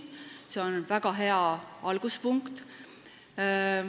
See on väga hea alguspunkt.